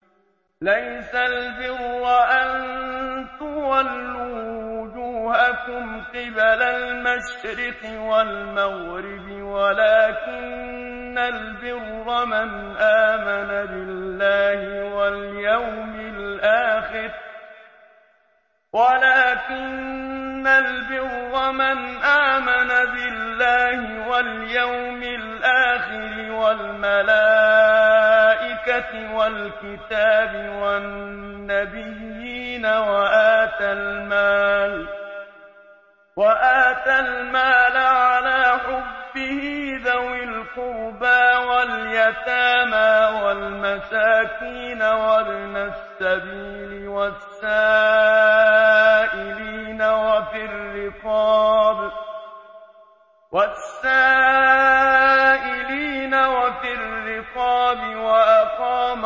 ۞ لَّيْسَ الْبِرَّ أَن تُوَلُّوا وُجُوهَكُمْ قِبَلَ الْمَشْرِقِ وَالْمَغْرِبِ وَلَٰكِنَّ الْبِرَّ مَنْ آمَنَ بِاللَّهِ وَالْيَوْمِ الْآخِرِ وَالْمَلَائِكَةِ وَالْكِتَابِ وَالنَّبِيِّينَ وَآتَى الْمَالَ عَلَىٰ حُبِّهِ ذَوِي الْقُرْبَىٰ وَالْيَتَامَىٰ وَالْمَسَاكِينَ وَابْنَ السَّبِيلِ وَالسَّائِلِينَ وَفِي الرِّقَابِ وَأَقَامَ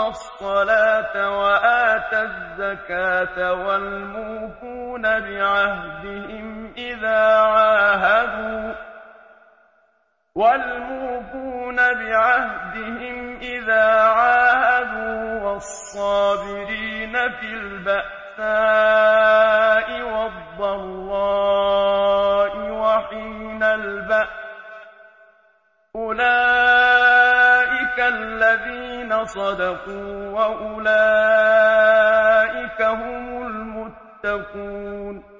الصَّلَاةَ وَآتَى الزَّكَاةَ وَالْمُوفُونَ بِعَهْدِهِمْ إِذَا عَاهَدُوا ۖ وَالصَّابِرِينَ فِي الْبَأْسَاءِ وَالضَّرَّاءِ وَحِينَ الْبَأْسِ ۗ أُولَٰئِكَ الَّذِينَ صَدَقُوا ۖ وَأُولَٰئِكَ هُمُ الْمُتَّقُونَ